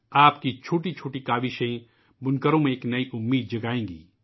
آپ کی چھوٹی چھوٹی کاوشوں سے بنکروں کو نئی امید ملے گی